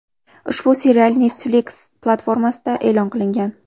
Ushbu serial Netflix platformasida e’lon qilingan.